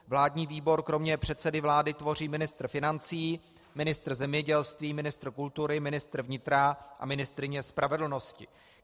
Vládní výbor kromě předsedy vlády tvoří ministr financí, ministr zemědělství, ministr kultury, ministr vnitra a ministryně spravedlnosti.